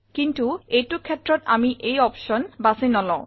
কিন্তু এইটো ক্ষেত্ৰত আমি এই অপশ্যন বাছি নলও